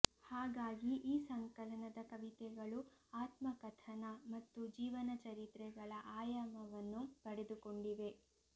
ಹಾಗಾಗಿ ಈ ಸಂಕಲನದ ಕವಿತೆಗಳು ಆತ್ಮಕಥನ ಮತ್ತು ಜೀವನ ಚರಿತ್ರೆಗಳ ಆಯಾಮವನ್ನು ಪಡೆದುಕೊಂಡಿವೆ